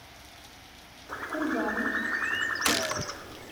кургану